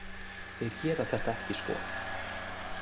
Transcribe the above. Þeir gera þetta ekki sko.